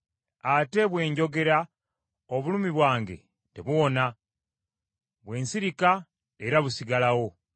“Ate bwe njogera, obulumi bwange tebuwona, bwe nsirika era busigalawo.